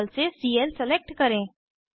table से CL select करें